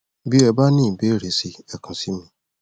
bí e bá ní ìbéèrè si ẹ kàn sí mi